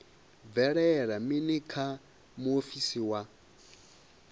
bvelela mini kha muofisi wa